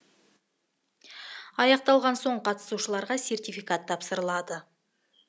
аяқталған соң қатысушыларға сертификат тапсырылады